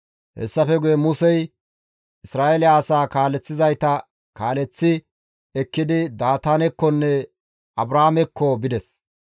Hessafe guye Musey Isra7eele asaa kaaleththizayta kaaleththi ekkidi Daataanekkonne Abraamekko bides.